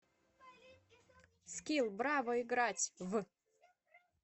скилл браво играть в